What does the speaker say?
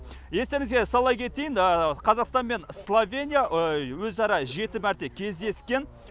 естеріңізге сала кетейін қазақстан мен словения өзара жеті мәрте кездескен